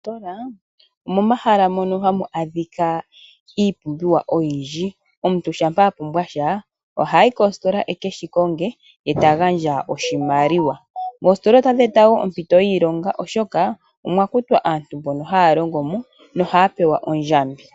Moositola omomahala mono hamu adhika iipumbiwa oyindji . Omuntu shampa apumbwasha ohayi koositola ekeshi konge etakagandja oshimaliwa. Oositola ohadhi eta woo ompito yiilongo oshoka omwakutwa aantu mbono haya longomo nohaya pewa ondjambi.